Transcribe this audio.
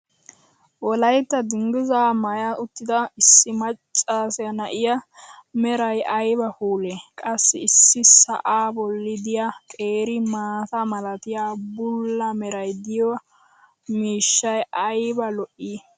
wolaytta dangizzaa maaya suttida issi maccsa na'ee meray ayba puulee! qassi issi sa"aa boli diya qeeri maata malatiya bula meray diyo miishshay ayba lo'ii!